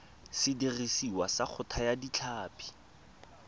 sediriswa sa go thaya ditlhapi